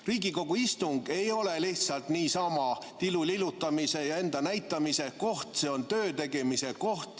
Riigikogu istung ei ole lihtsalt niisama tilulilutamise ja enda näitamise koht, see on töötegemise koht.